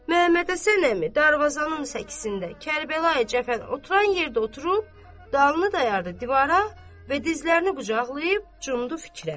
Məmməd Həsən əmi darvazanın səkisində Kərbəlayi Cəfər oturan yerdə oturub, dalını dayadı divara və dizlərini qucaqlayıb cumdu fikrə.